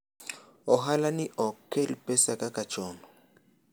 ohala ni ok kel pesa kaka chon